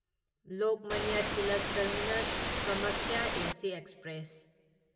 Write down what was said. Lokmanya Tilak terminus Kamakhya AC express